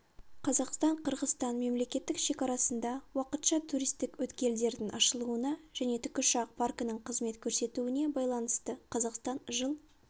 қазақстан-қырғызстан мемлекеттік шекарасында уақытша туристік өткелдердің ашылуына және тікұшақ паркінің қызмет көрсетуіне байланысты қазақстан жыл